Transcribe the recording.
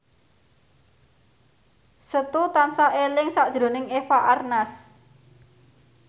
Setu tansah eling sakjroning Eva Arnaz